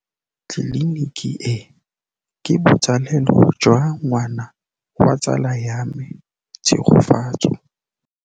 Tleliniki e, ke botsalêlô jwa ngwana wa tsala ya me Tshegofatso.